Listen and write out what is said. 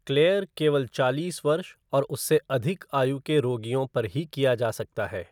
Clear केवल चालीस वर्ष और उससे अधिक आयु के रोगियों पर ही किया जा सकता है।